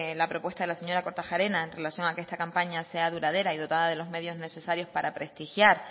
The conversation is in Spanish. la propuesta de la señora kortajarena en relación que esta campaña sea duradera y dotada de los medios necesarios para prestigiar